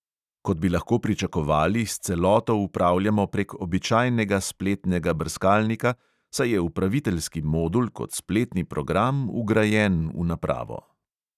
Kot bi lahko pričakovali, s celoto upravljamo prek običajnega spletnega brskalnika, saj je upraviteljski modul kot spletni program vgrajen v napravo.